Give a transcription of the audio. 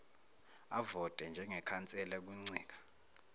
avote njengekhansela kuncika